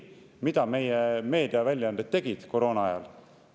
Mida meie meediaväljaanded tegid koroona ajal?